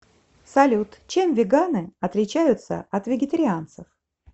салют чем веганы отличаются от вегетарианцев